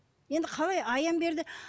енді қалай аян берді